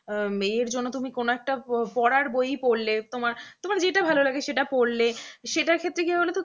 এর জন্য তুমি কোন একটা পড়ার বই ই পড়লে তোমার তোমার যেটা ভালো লাগে সেটা পড়লে সেটার ক্ষেত্রে কি হয় বলতো